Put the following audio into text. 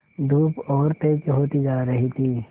धूप और तेज होती जा रही थी